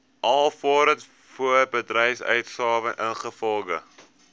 alvorens voorbedryfsuitgawes ingevolge